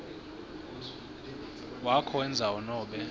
wakho wendzawo nobe